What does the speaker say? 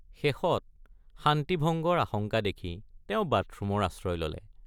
শেষত শান্তি ভঙ্গৰ আশঙ্কা দেখি তেওঁ বাথৰুমৰ আশ্ৰয় ললে।